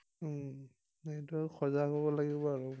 সেইটো সজাগ হব লাগিব আমি।